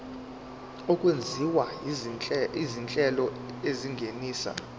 okwenziwa izinhlelo ezingenisa